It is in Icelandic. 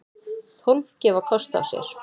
Tólf gefa kost á sér.